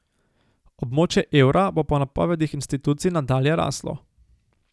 Območje evra bo po napovedih institucij nadalje raslo.